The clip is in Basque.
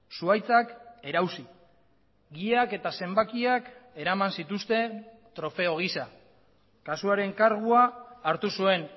zuhaitzak erausi giak eta zenbakiak eraman zituzten trofeo giza kasuaren kargua hartu zuen